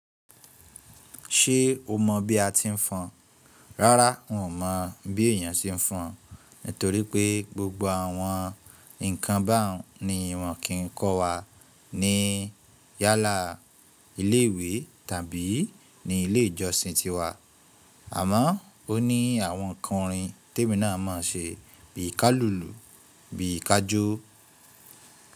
Ṣé o mọ̀ bí a ti ń fọn? Rárá, n ò mọ̀ bí èèyàn ṣe ń fọn, torí pé gbogbo àwọn nǹkan báwọn ni wọ̀n kì ń kọ́ wa ní yálà ilé ìwé tàbí ní ilé ìjọsìn tiwa. Àmọ́ o ní àwọn ǹkan ìrìn tí èmi náà má ń ṣe bí i ká lùlù, bí i ká jó.